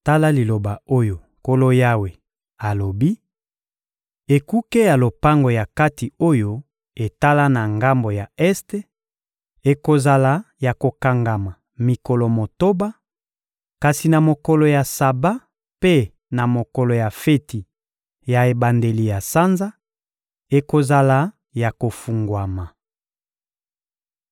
Tala liloba oyo Nkolo Yawe alobi: Ekuke ya lopango ya kati oyo etala na ngambo ya este ekozala ya kokangama mikolo motoba; kasi na mokolo ya Saba mpe na mokolo ya feti ya ebandeli ya sanza, ekozala ya kofungwama.